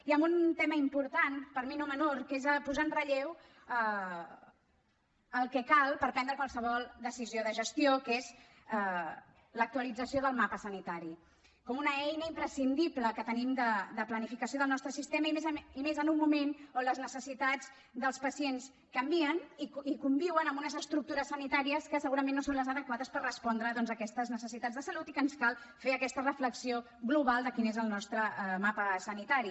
i amb un tema important per mi no menor que és posar en relleu el que cal per prendre qualsevol decisió de gestió que és l’actualització del mapa sanitari com una eina imprescindible que tenim de planificació del nostre sistema i més en un moment on les necessitats dels pacients canvien i conviuen amb unes estructures sanitàries que segurament no són les adequades per respondre doncs a aquestes necessitats de salut i que ens cal fer aquesta reflexió global de quin és el nostre mapa sanitari